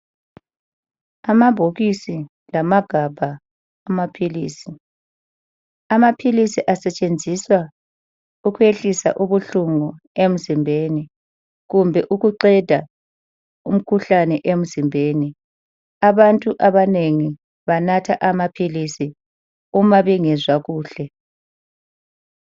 Amabhokisi lamagabha amaphilisi. Amaphilisi asetshenziswa ukuyehlisa ubuhlungu emzimbeni kumbe ukuqeda umkhuhlane emzimbeni. Abantu abanengi banatha amaphilisi uma bengezwa kuhle.